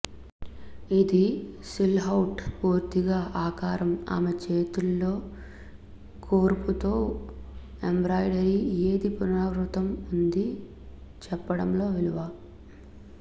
ఇది సిల్హౌట్ పూర్తిగా ఆకారం ఆమె చేతుల్లో కూర్పు తో ఎంబ్రాయిడరీ ఏది పునరావృతం ఉంది చెప్పడంలో విలువ